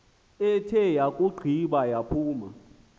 ithe yakugqiba yaphuma